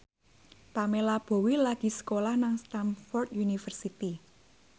Pamela Bowie lagi sekolah nang Stamford University